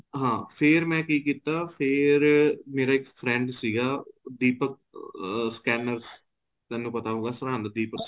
ਹਾਂ ਫ਼ੇਰ ਮੈਂ ਕੀ ਕੀਤਾ ਫ਼ੇਰ ਮੇਰਾ ਇੱਕ friend ਸੀਗਾ ਦੀਪਕ ਅਹ scanners ਤੈਨੂੰ ਪਤਾ ਹੋਊਗਾ ਸਰਹਿੰਦ ਦੀਪਕ